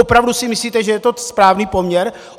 Opravdu si myslíte, že je to správný poměr?